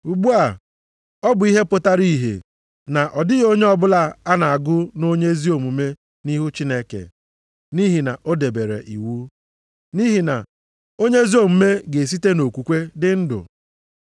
Ugbu a, ọ bụ ihe pụtara ìhè na ọ dịghị onye ọbụla a na-agụ nʼonye ezi omume nʼihu Chineke, nʼihi na o debere iwu. Nʼihi na, “Onye ezi omume ga-esite nʼokwukwe dị ndụ.” + 3:11 \+xt Hab 2:4\+xt*